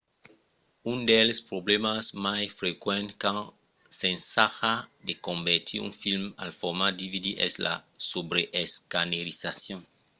un dels problèmas mai frequents quand s'ensaja de convertir un film al format dvd es la subreescanerizacion